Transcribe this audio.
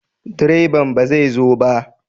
Direban ba zai zo ba?